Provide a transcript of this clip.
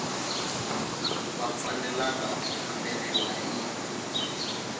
va fanelanga ku famberiwa hi